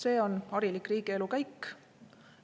See on harilik riigielu käik.